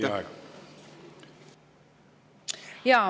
Teie aeg!